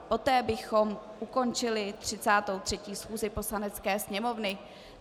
Poté bychom ukončili 33. schůzi Poslanecké sněmovny.